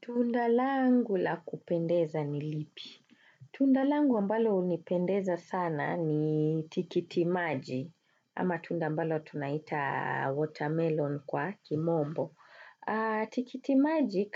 Tunda langu la kupendeza ni lipi? Tunda langu ambalo hunipendeza sana ni tikitimaji. Ama tunda ambalo tunaiita watermelon kwa kimombo. Tikitimaji